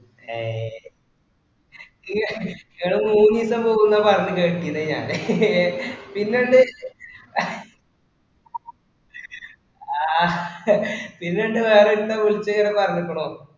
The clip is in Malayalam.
അയേ ഇങ്ങ ഇങ്ങള് മൂന്നീസം പോക്കുന്ന പറഞ്ഞീക്ക് പിന്നെ ഞാന് ഇങ്ങേ പിന്നണ്ട് ആഹ് പിന്നണ്ട് വേറെഒരുത്തൻ വിളിച്ചിങ്ങനെ പറഞ്ഞുക്കുണു